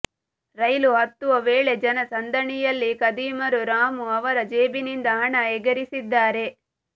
ರೈಲು ಹತ್ತುವ ವೇಳೆ ಜನ ಸಂದಣಿಯಲ್ಲಿ ಖದೀಮರು ರಾಮು ಅವರ ಜೇಬಿನಿಂದ ಹಣ ಎಗರಿಸಿದ್ದಾರೆ